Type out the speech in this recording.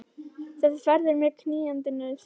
Þessi ferð er mér knýjandi nauðsyn.